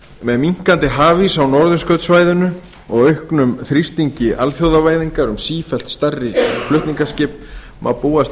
með minnkandi hafís á norðurskautssvæðinu og auknum þrýstingi alþjóðavæðingar um sífellt stærri flutningaskip má búast